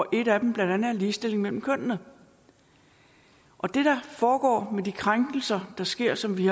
en af dem ligestilling mellem kønnene det der foregår med de krænkelser der sker som vi